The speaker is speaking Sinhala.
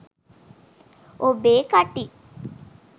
ඔබේ කටින්